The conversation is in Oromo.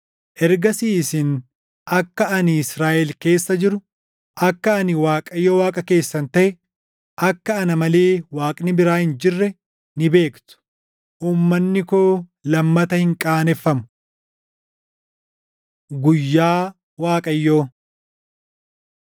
Ergasii isin akka ani Israaʼel keessa jiru akka ani Waaqayyo Waaqa keessan taʼe, akka ana malee Waaqni biraa hin jirre ni beektu; uummanni koo lammata hin qaaneffamu. Guyyaa Waaqayyoo